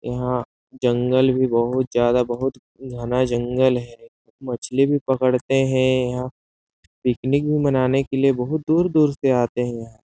यहाँ से जंगल भी बहुत ज्यादा बहुत ही घना जंगल है मछली भी पकड़ते हैं यहाँ पिकनींक भी मनाने के लिए बहुत दूर-दूर से आते है यहाँ--